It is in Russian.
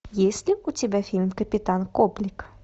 есть ли у тебя фильм капитан коблик